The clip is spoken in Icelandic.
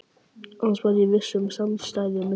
Annars var viss samstaða milli okkar